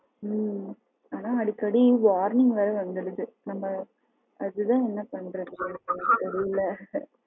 ஹம் ஆனா அடிக்கடி warning வேற வந்துருது அது தான் என்ன பண்றதுன்னு தெரில